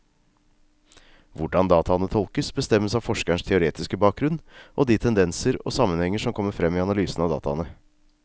Hvordan dataene tolkes, bestemmes av forskerens teoretiske bakgrunnen og de tendenser og sammenhenger som kommer frem i analysen av dataene.